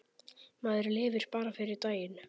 Maður lifir bara fyrir daginn.